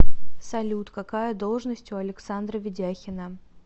салют какая должность у александра ведяхина